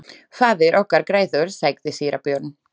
Faðir okkar grætur, sagði síra Björn.